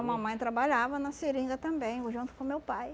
mamãe trabalhava na seringa também, junto com meu pai.